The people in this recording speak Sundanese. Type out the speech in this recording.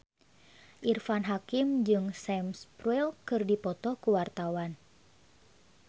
Irfan Hakim jeung Sam Spruell keur dipoto ku wartawan